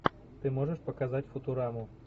ты можешь показать футураму